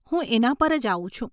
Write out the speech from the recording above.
હું એના પર જ આવું છું.